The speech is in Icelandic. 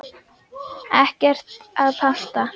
Ekkert að panta.